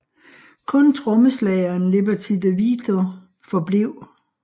Kun trommeslageren Liberty De Vito forblev